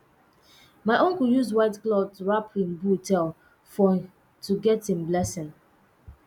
my uncle use white cloth wrap him bull tail for to get im blessing